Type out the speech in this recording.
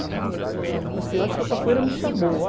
Assim Eu acho que a capoeira me chamou.